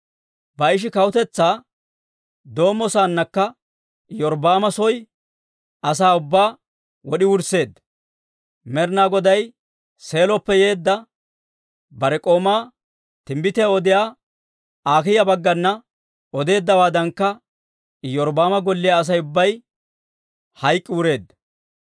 Baa'ishi kawutetsaa doommo saannakka Iyorbbaama soo asaa ubbaa wod'i wursseedda; Med'inaa Goday Seeloppe yeedda bare k'oomaa timbbitiyaa odiyaa Akiiya baggana odeeddawaadankka Iyorbbaama golliyaa Asay ubbay hayk'k'i wureedda.